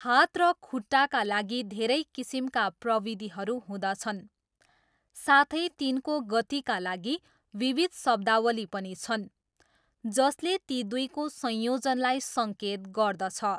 हात र खुट्टाका लागि धेरै किसिमका प्रविधिहरू हुँदछन् साथै तिनको गतिका लागि विविध शब्दावली पनि छन् जसले ती दुईको संयोजनलाई सङ्केत गर्दछ।